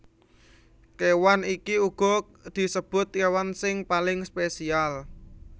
Kéwan iki uga disebut kéwan sing paling spesial